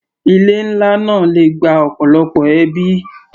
Ilé nlá náà le gba ọ̀pọ̀lọpọ̀ ẹbí.